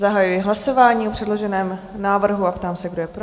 Zahajuji hlasování o předloženém návrhu a ptám se, kdo je pro?